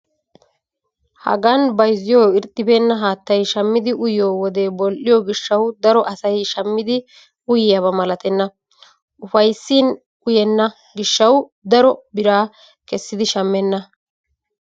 Hagan bayizziyoo irxxibeenna haattayi shammidi uyyiyoo wode bol''iyoo gishshawu daro asayi shammidi uyyiyaaba malatenna. Upayissin uyenna gishshawu daro biraa kessidi shammenna.